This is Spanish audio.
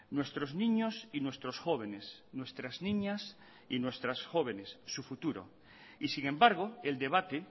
nuestros niños y nuestros jóvenes nuestras niñas y nuestras jóvenes su futuro y sin embargo el debate